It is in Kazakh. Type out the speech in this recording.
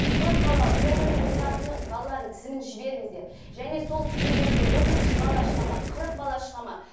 көпбалалы толық емес отбасының балаларының тізімін жіберіңіздер және сол тізім бойынша отыз бала шығады ма қырық бала шығады ма